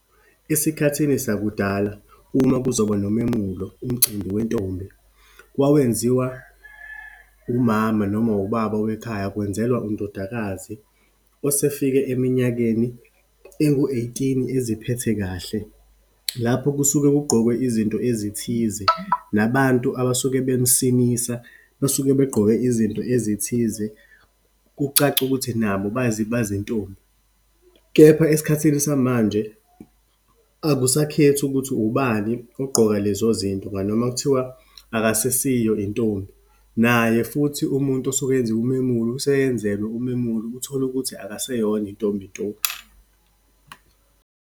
Esikhathini sakudala uma kuzoba nomemulo, umcimbi wentombi. Wawenziwa umama noma ubaba wekhaya, kwenzelwa undodakazi, osefika eminyakeni engu-eighteen eziphethe kahle. Lapho kusuke kugqokwe izinto ezithize, nabantu abasuke bemsinisa basuke begqoke izinto ezithize, kucace ukuthi nabo bayizintombi. Kepha esikhathini samanje, akusakhethi ukuthi ubani ogqoka lezo zinto ngani, noma kuthiwa akasesiyo intombi. Naye futhi umuntu osuke enziwa umemulo, useyenzelwe umemulo, utholukuthi akaseyona intombi nto.